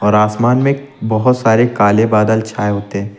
और आसमान में बहुत सारे काले बादल छाए होते हैं।